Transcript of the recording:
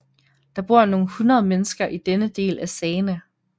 Der bor nogle hundrede mennesker i denne del af Sagene